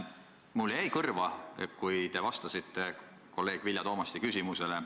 Mulle jäi kõrva teie vastus kolleeg Vilja Toomasti küsimusele.